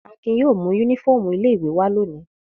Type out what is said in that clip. Akin yóò mú únífọ́ọ́mù ilé-ìwé wá lónìí.